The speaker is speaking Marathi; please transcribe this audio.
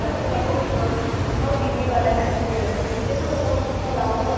दिंडी आलेल्या पूर्ण फिरते ना गावभर